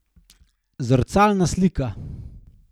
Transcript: Zrcalna slika.